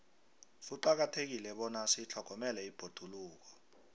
kuqakathekile bona sitlhogomele ibhoduluko